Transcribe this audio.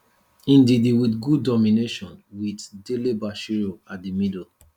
ndidi wit good domination wit dele bashiru at di middle